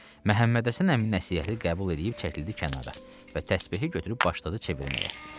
Məhəmməd Həsən əmi nəsihəti qəbul eləyib çəkildi kənara və təsbehini götürüb başladı çevirməyə.